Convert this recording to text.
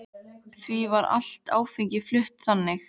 Því var allt áfengi flutt þannig.